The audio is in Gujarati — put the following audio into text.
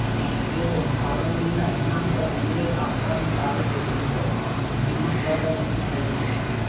તેઓ ફાળવણીના ઈનામ પર નિર્ણય અપનાવવાની તારીખે મિલકત કિંમત દ્વારા નક્કી થાય છે